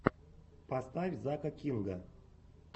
поставь зака кинга